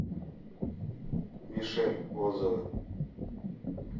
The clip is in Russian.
мишель отзывы